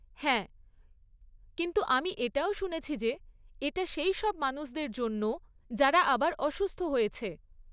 হ্যাঁ, কিন্তু আমি এটাও শুনেছি যে এটা সেই সব মানুষদের জন্যও যারা আবার অসুস্থ হয়েছে।